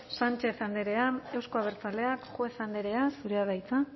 sánchez andrea euzko abertzaleak juez andrea zurea da hitza